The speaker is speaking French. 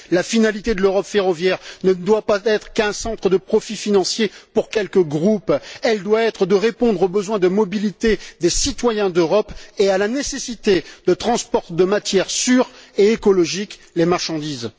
La finalité de l'Europe ferroviaire ne doit pas être qu'un centre de profit financier pour quelques groupes, elle doit être de répondre aux besoins de mobilité des citoyens d'Europe et à la nécessité de transport de matières sûres et écologiques les marchandises.